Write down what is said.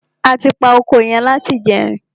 A ti pa oko yẹn láti ìjẹrin.